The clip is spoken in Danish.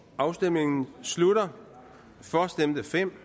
afstemningen slutter for stemte fem